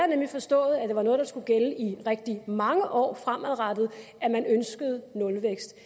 nemlig forstået at det var noget der skulle gælde i rigtig mange år fremadrettet at man ønskede nulvækst